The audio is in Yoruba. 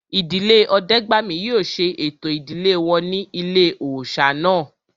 Ìdílé Ọdẹ́gbàmí yóò ṣe ẹ̀tọ́ ìdílé wọn ní ilé-òòsà náà